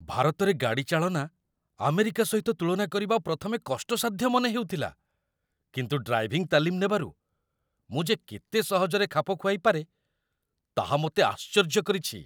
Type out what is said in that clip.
ଭାରତରେ ଗାଡ଼ିଚାଳନା ଆମେରିକା ସହିତ ତୁଳନା କରିବା ପ୍ରଥମେ କଷ୍ଟସାଧ୍ୟ ମନେହେଉଥିଲା, କିନ୍ତୁ ଡ୍ରାଇଭିଂ ତାଲିମ୍ ନେବାରୁ, ମୁଁ ଯେ କେତେ ସହଜରେ ଖାପ ଖୁଆଇ ପାରେ, ତାହା ମୋତେ ଆଶ୍ଚର୍ଯ୍ୟ କରିଛି!